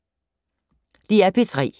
DR P3